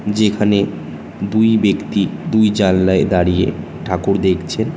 যেখানে দুই বেক্তি দুই জানলায় দাঁড়িয়ে ঠাকুর দেখছে।